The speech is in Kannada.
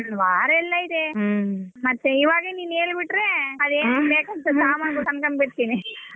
ವಾರೆಲ್ಲ ಇದೆ ಮತ್ತೆ ಇವಾಗ ನೀನ್ ಹೇಳ್ ಬಿಟ್ಟ್ರೆ ಸಮಾನಗಳು ತಂದ್ಕೊಂಡ್ ಬಿಡ್ತೀನಿ.